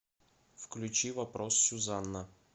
включи вопрос сюзанна